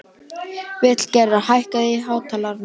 Vilgerður, hækkaðu í hátalaranum.